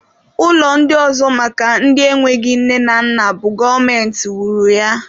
Ụlọ ndị ọzọ maka ndị enweghị nne na nna bụ gọọmenti wuru ya